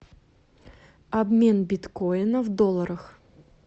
обмен биткоина в долларах